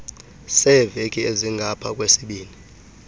seeveki ezingapha kwesibini